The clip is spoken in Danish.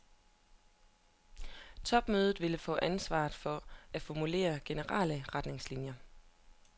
Topmødet vil få ansvar for at formulere generelle retningslinjer.